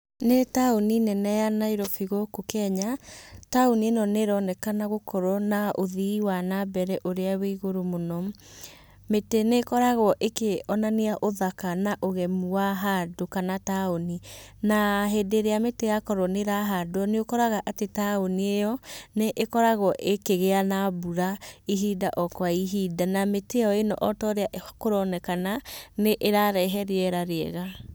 Nĩ taũni nene ya Nairobi gũkũ Kenya, taũni ĩ no nĩĩronekana gũkorwo na ũthii wa na mbere ũrĩa wĩ igũrũ mũno. Mĩtĩ nĩ ĩkoragwo ĩkĩonania ũthaka na ũgemu wahandũ kana taũni. Na hĩndĩ ĩrĩa mĩtĩ ya korwo nĩ ĩrahandwo nĩ ũkoraga atĩ taũni ĩyo nĩ ĩkoragwo ĩkĩgĩa na mbũra ihinda o kwa ihinda na mĩtĩ ĩ no otaũrĩa kũronekana nĩĩrarehe rĩera rĩega.